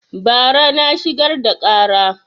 Bara na shigar da ƙara